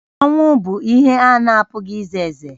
Ọnwụ bụ ihe a na-apụghị ize eze